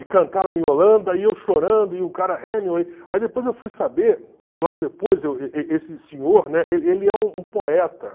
E cantaram Iolanda, e eu chorando, e o cara Hemingway... Aí depois eu fui saber, logo depois, esse senhor, né, ele ele é um poeta.